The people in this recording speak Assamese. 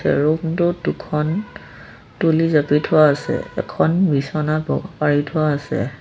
এই ৰুম টোত দুখন তুলি জাপি থোৱা আছে এখন বিচনা পাৰি থোৱা আছে।